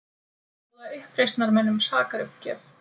Bjóða uppreisnarmönnum sakaruppgjöf